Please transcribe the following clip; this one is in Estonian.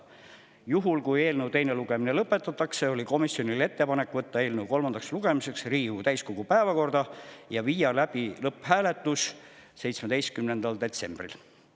Juhul, kui eelnõu teine lugemine lõpetatakse, on komisjoni ettepanek võtta eelnõu kolmandaks lugemiseks Riigikogu täiskogu päevakorda ja viia läbi lõpphääletus 17. detsembril.